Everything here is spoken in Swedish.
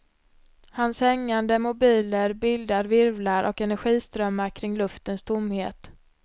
Hans hängande mobiler bildar virvlar och energiströmmar kring luftens tomhet.